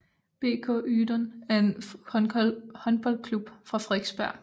BK Ydun er en håndboldklub fra Frederiksberg